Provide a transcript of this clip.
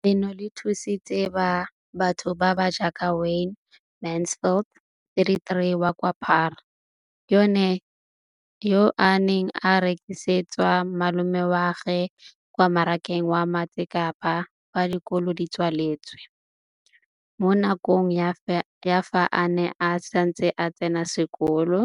leno le thusitse batho ba ba jaaka Wayne Mansfield, 33, wa kwa Paarl, yo a neng a rekisetsa malomagwe kwa Marakeng wa Motsekapa fa dikolo di tswaletse, mo nakong ya fa a ne a santse a tsena sekolo,